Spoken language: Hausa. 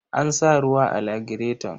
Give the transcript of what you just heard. An sa ruwa a lagireton.